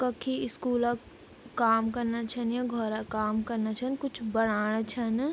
कखी स्कूल क काम कना छन या घौर क काम कना छन कुछ बणाणा छन।